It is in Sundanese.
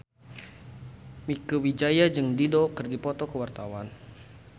Mieke Wijaya jeung Dido keur dipoto ku wartawan